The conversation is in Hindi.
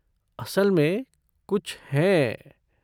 असल में कुछ हैं।